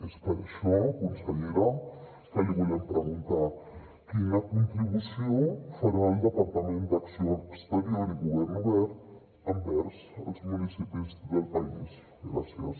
és per això consellera que li volem preguntar quina contribució farà el departament d’acció exterior i govern obert envers els municipis del país gràcies